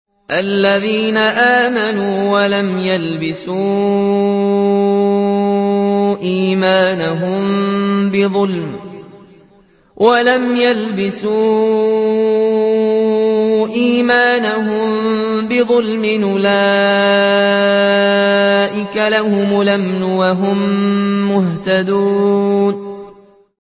الَّذِينَ آمَنُوا وَلَمْ يَلْبِسُوا إِيمَانَهُم بِظُلْمٍ أُولَٰئِكَ لَهُمُ الْأَمْنُ وَهُم مُّهْتَدُونَ